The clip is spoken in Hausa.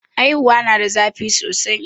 haihuwa na da zafi sosai